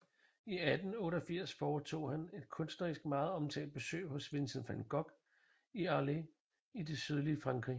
I 1888 foretog han et kunsthistorisk meget omtalt besøg hos Vincent van Gogh i Arles i det sydlige Frankrig